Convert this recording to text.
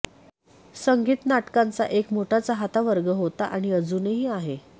संगीत नाटकांचा एक मोठा चाहता वर्ग होता आणि अजूनही आहे